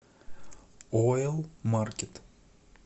ойл маркет